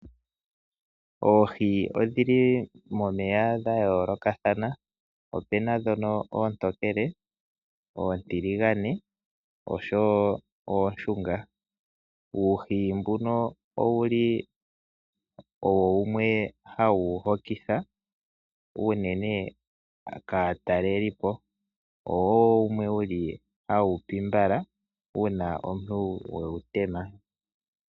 Oohi odhi li momeya dha yoolokathana. Opuna ndhono oontokele, oontiligane oshonwo ooshunga. Uuhi mbuno owu li owo wumwe hawu hokitha unene kaatakelipo owo wo wumwe hawu pi mbala uuna we wu tema.